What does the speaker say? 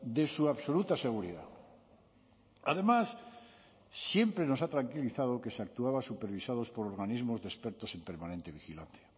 de su absoluta seguridad además siempre nos ha tranquilizado que se actuaba supervisados por organismos de expertos en permanente vigilancia